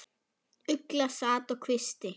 Ugla sat á kvisti.